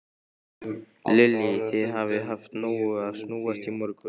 Lillý: Þið hafið haft í nógu að snúast í morgun?